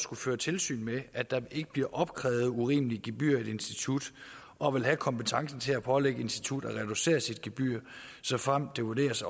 kunne føre tilsyn med at der ikke bliver opkrævet urimelige gebyrer i et institut og vil have kompetencen til at pålægge et institut at reducere sit gebyr såfremt det vurderes